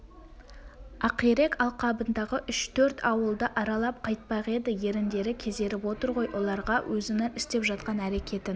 ақирек алқабындағы үш-төрт ауылды аралап қайтпақ еді еріндері кезеріп отыр ғой оларға өзінің істеп жатқан әрекетін